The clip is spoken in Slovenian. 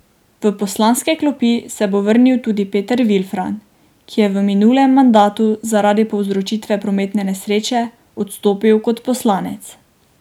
V poslanske klopi se bo vrnil tudi Peter Vilfan, ki je v minulem mandatu zaradi povzročitve prometne nesreče odstopil kot poslanec.